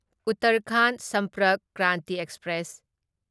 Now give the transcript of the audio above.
Uttarakhand Sampark Kranti express